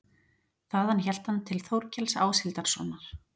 Þaðan hélt hann til Þórkels Áshildarsonar.